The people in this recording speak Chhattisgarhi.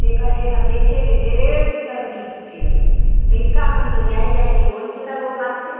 टेका एहा देखे ले ढेरे सुघर दिखते लिइरका मन तो जाये-जाये के ओहि च ला लोभा थे।